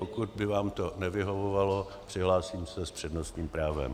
Pokud by vám to nevyhovovalo, přihlásím se s přednostním právem.